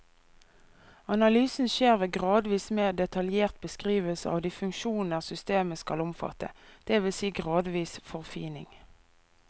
Analysen skjer ved gradvis mer detaljert beskrivelse av de funksjoner systemet skal omfatte, det vil si gradvis forfining.